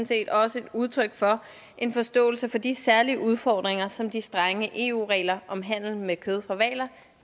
set også et udtryk for en forståelse for de særlige udfordringer som de strenge eu regler om handel med kød fra hvaler